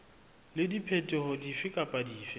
le diphetoho dife kapa dife